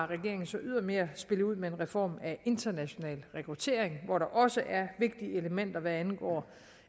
regeringen så ydermere ud med en reform af international rekruttering hvor der også er vigtige elementer hvad angår